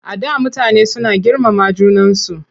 Before people were so respectful of one another.